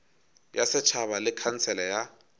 ya setšhaba le khansele ya